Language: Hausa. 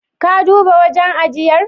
Ka duba wajen ajiyar?